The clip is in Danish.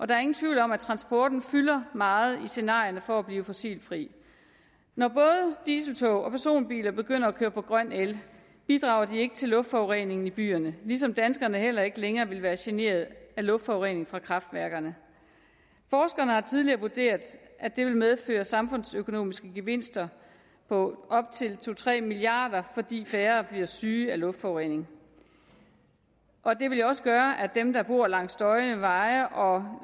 der er ingen tvivl om at transporten fylder meget i scenarierne for at blive fossilfri når både dieseltog og personbiler begynder at køre på grøn el bidrager de ikke til luftforurening i byerne ligesom danskerne heller ikke længere vil være generet af luftforurening fra kraftværkerne forskerne har tidligere vurderet at det vil medføre samfundsøkonomiske gevinster på op til to tre milliard kr fordi færre bliver syge af luftforurening og det vil jo også gøre at dem der bor langs støjende veje og